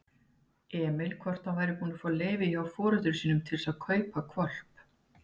Emil hvort hann væri búinn að fá leyfi hjá foreldrum sínum til að kaupa hvolp.